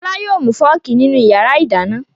Fọlá yóò mú fọ́ọ́kì nínú ìyàrá-ìdáná.